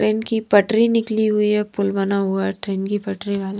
train की पटरी निकली हुई है पुल बना हुआ है ट्रेन की पटरी वाल --